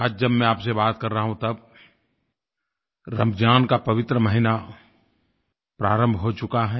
आज जब मैं आप से बात कर रहा हूँ तब रमज़ान का पवित्र महीना प्रारम्भ हो चुका है